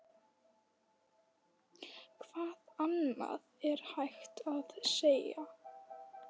Hvað annað er hægt að segja?